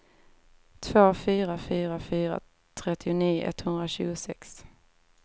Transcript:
två fyra fyra fyra trettionio etthundratjugosex